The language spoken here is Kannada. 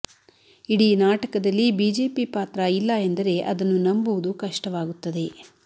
ಇಡೀ ನಾಟಕದಲ್ಲಿ ಬಿಜೆಪಿ ಪಾತ್ರ ಇಲ್ಲ ಎಂದರೆ ಅದನ್ನು ನಂಬುವುದು ಕಷ್ಟವಾಗುತ್ತದೆ